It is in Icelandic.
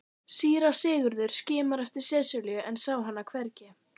Síra Sigurður skimaði eftir Sesselju en sá hana hvergi.